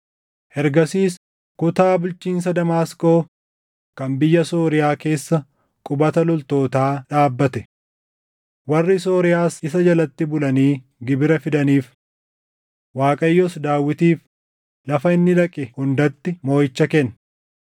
Ergasiis kutaa bulchiinsa Damaasqoo kan biyya Sooriyaa keessa qubata loltootaa dhaabbate. Warri Sooriyaas isa jalatti bulanii gibira fidaniif. Waaqayyos Daawitiif lafa inni dhaqe hundatti mooʼicha kenne.